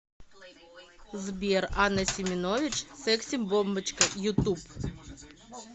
сбер анна семенович секси бомбочка ютуб